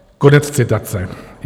Konec citace.